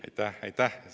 Aitäh-aitäh!